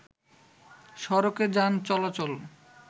সড়কে যান চলাচল